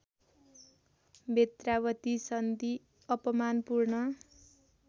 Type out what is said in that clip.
बेत्रावती सन्धि अपमानपूर्ण